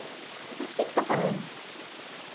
Eu falei, de quem que você está falando?